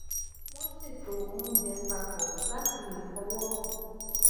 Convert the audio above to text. wón ṣètò oúnjẹ pa pọ láti lè fọwọ